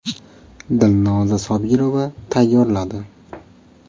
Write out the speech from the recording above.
Dilnoza Sobirova tayyorladi.